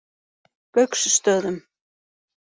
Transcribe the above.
Gauksstöðum